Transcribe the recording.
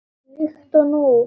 Líkt og nú.